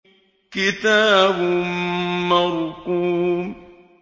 كِتَابٌ مَّرْقُومٌ